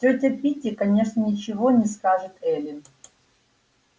тётя питти конечно ничего не скажет эллин